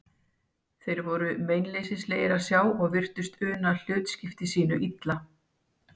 Þeir voru meinleysislegir að sjá og virtust una hlutskipti sínu illa.